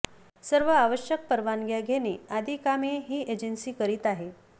सर्व आवश्यक परवानग्या घेणे आदी कामे ही एजन्सी करीत आहे